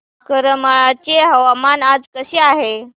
करमाळ्याचे हवामान आज कसे आहे